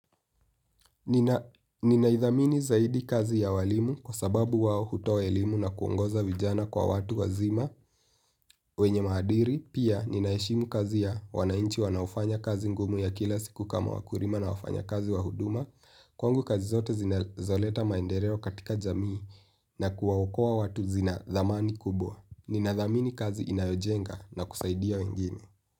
Ninaidhamini zaidi kazi ya walimu kwa sababu wao hutoa elimu na kuongoza vijana kwa watu wazima wenye maadiri, pia ninaheshimu kazi ya wananchi wanaofanya kazi ngumu ya kila siku kama wakulima na wafanyakazi wa huduma kwangu kazi zote zinazoleta maendereo katika jamii na kuwaokoa watu zina dhamani kubwa. Ninadhamini kazi inayojenga na kusaidia wengine.